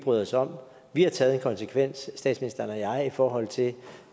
bryder os om vi har taget en konsekvens statsministeren og jeg i forhold til